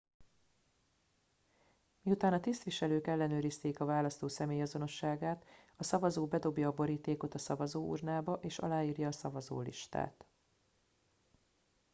miután a tisztviselők ellenőrizték a választó személyazonosságát a szavazó bedobja a borítékot a szavazóurnába és aláírja a szavazólistát